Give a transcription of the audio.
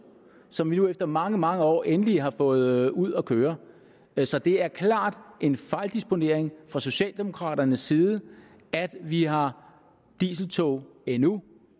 som vi nu efter mange mange år endelig har fået ud at køre så det er klart en fejldisponering fra socialdemokraternes side at vi har dieseltog endnu